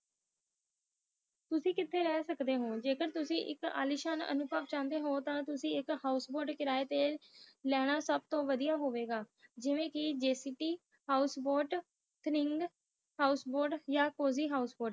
ਤੁਸੀ ਕੀਤੀ ਰਹੇ ਸਕਦੇ ਹੋ, ਜੇ ਕਰ ਤੁਸੀ ਆਲੀਸ਼ਾਨ ਅਨੁਭਵ ਲੈਣਾ ਚਨਾਯ ਹੋ ਤਾ ਤੁਸੀ ਇਕ ਹੋਸ਼ ਬੋਰਡ ਕਿਰਾਏ ਤੇ ਲਈ ਸਕਦੇ ਹੋ ਉਹ ਲੈਣਾ ਸਬ ਤੋਂ ਵਾਦੀਆਂ ਹੋਇਆ ਗਏ ਜਿਵੇ ਕਿ ਜਕਪ ਹੋਸ਼ ਬੋਟ ਥਰਿੰਗ ਜਾ ਕਾਜੀ ਹੌਸ਼ਬੋਅਤ